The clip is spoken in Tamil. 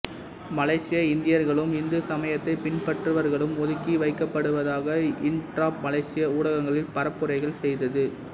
மலேசிய இந்தியர்களும் இந்து சமயத்தைப் பினபற்றுபவர்களும் ஒதுக்கி வைக்கப்படுவதாக இண்ட்ராப் மலேசிய ஊடகங்களில் பரப்புரைகள் செய்தது